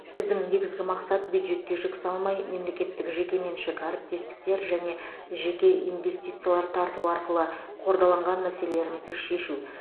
біздің негізгі мақсат бюджетке жүк салмай мемлекеттік жекеменшік әріптестіктер және жеке инвестициялар тарту арқылы қордаланған мәселелерімізді шешу